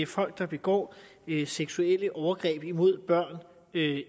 folk der begår seksuelle overgreb mod børn